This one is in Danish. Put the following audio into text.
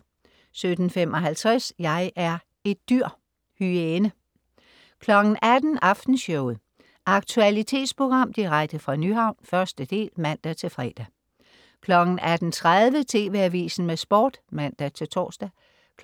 17.55 Jeg er et dyr! Hyæne 18.00 Aftenshowet. Aktualitetsprogram direkte fra Nyhavn, 1. del (man-fre) 18.30 TV Avisen med Sport (man-tors)